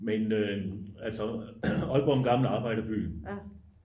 men altså aalborg er jo en gammel arbejderby